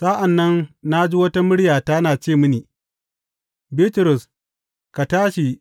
Sa’an nan na ji wata murya tana ce mini, Bitrus, ka tashi.